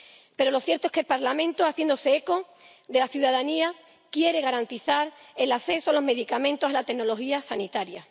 Pero lo cierto es que el Parlamento, haciéndose eco de la ciudadanía, quiere garantizar el acceso a los medicamentos, a la tecnología sanitaria.